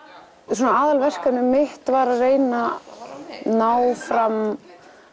svona aðalverkefnið mitt var að reyna að ná fram